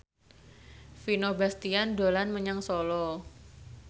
Vino Bastian dolan menyang Solo